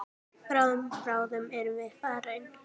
Bráðum, bráðum erum við farin.